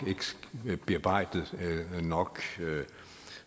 ikke bearbejdet nok